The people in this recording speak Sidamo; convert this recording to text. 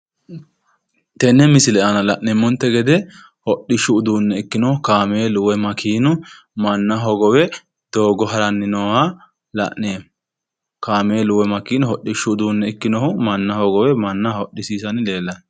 Tenne misile aana la'neemmonte gede hidhishu uduunne ikkinohu kaameelu woy makeenu manna hogowe doogo haranni nooha la'neemmo. Kaameelu woy makeenu manna hogowe manna hodhissiisanni leellanno.